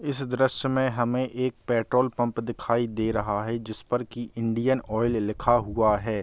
इस दृश्य में हमे एक पैट्रॉल पम्प दिखाई दे रहा है जिस पर की इंडियन आयल लिखा हुआ है।